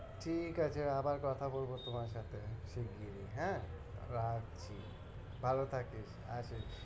ঠিক আছে, আবার কথা বলবো তোমার সাথে শিগগিরই হ্যাঁ, রাখছি ভালো থাকিস, রাখি।